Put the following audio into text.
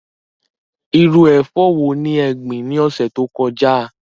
Irú ẹ̀fọ́ wo ni ẹ gbìn ní ọ̀sẹ̀ tó kọjá?